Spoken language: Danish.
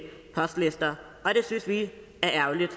postlister og det synes vi er ærgerligt